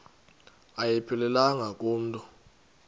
ayiphelelanga ku mntu